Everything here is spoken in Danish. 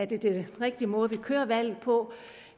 det den rigtige måde vi kører valget på